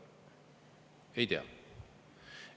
Ei tea.